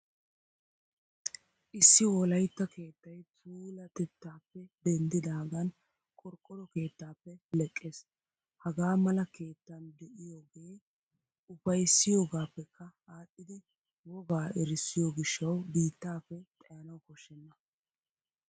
Issi Wolaytta keettay puulateettaappe denddidaagan qorqqoro keettaappe leqqees. Hagaa mala keettan de'iyoogee ufayssiyoogaappekka aadhdhidi wogaa erissiyoo gishshawu biittaappe xayanawu koshshenna.